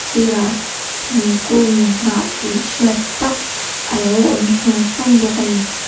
sirah thingkung hnah tih hriat tak alo awm sung sung bawk a ni.